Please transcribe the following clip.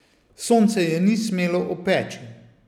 Sonce je ni smelo opeči.